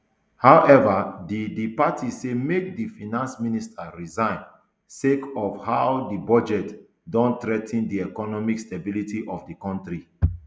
howeva di di party say make di finance minister resign sake of how di budget don threa ten di economic stability for di kontri